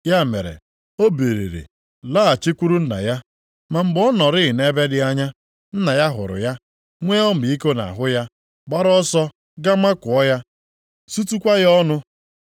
Ya mere, o biliri laghachikwuru nna ya. “Ma mgbe ọ nọrịị nʼebe dị anya, nna ya hụrụ ya, nwee ọmịiko nʼahụ ya, gbaara ọsọ ga makụọ ya, sutukwa ya ọnụ.